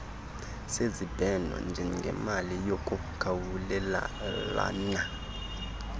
sezibheno njengemali yokukhawulelana